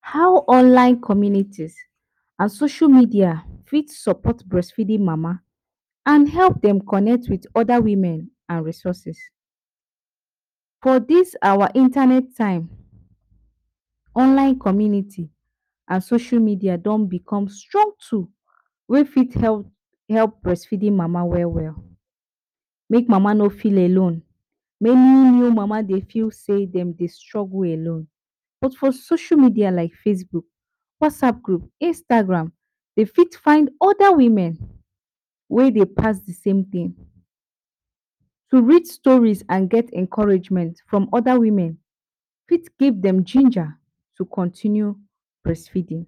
How online communities and social media for support breastfeeding mama, and help dem connect with oda mama and resources, for dis awa internet time online communities and social media don become strong tool wey fit help breastfeeding mama well well, make mama no feel alone, make new mama no feel sey dem Dey struggle alone, but for social media like Facebook, WhatsApp group, Instagram dem fit find oda mama wey Dey pass same tin, to read stories and encouragement from oda women for give dem ginger to continue breast feeding,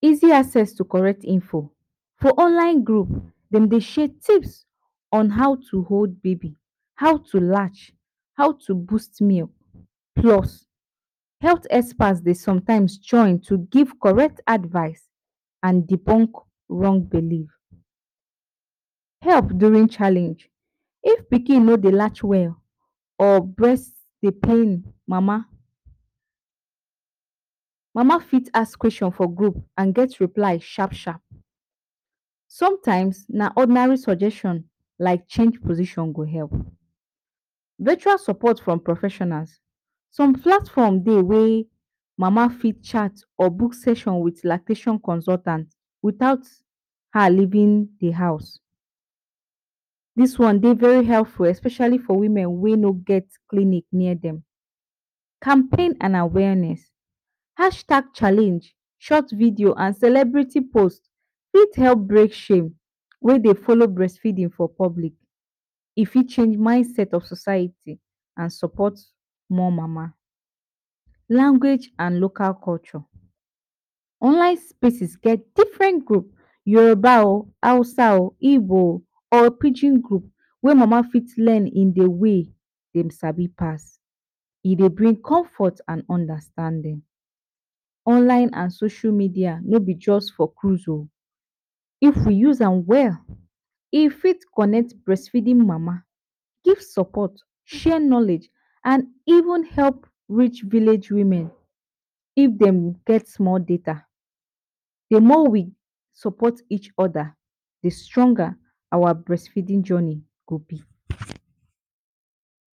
easy asset to correct info for online group dem Dey share tips on how hold baby how to latch, how to boost milk plus health experts Dey sometimes join to give correct advice and debunk wrong belief, help during challenge, if pikin no Dey latch well or breast Dey pain mama, mama fit ask question for group and get reply sharp sharp, sometimes na ordinary suggestion like change position go help, beta support from professionals, some platform Dey wey mama fit chat or book section wit lactation consultants without her leaving d house, dis one Dey very helpful especially for women wey no get clinic near dem, Champaign awareness, hashtag challenge, short videos and celebrity post for help break shame wey Dey follow breast feeding for public, e fit change mindset of society and support more mama. Language and local support online spaces get different group Yoruba oh, Hausa oh, Igbo oh, or pidgin group wey mama fit learn in d way dem sabi pass, e go bring comfort and understanding, online and social media no b jus for cruise oh, if we use am well e fit connect breastfeeding mama, give support share knowledge and even help reach village women if dem get small data, d more we support each oda d stronger awa breast feeding journey go b.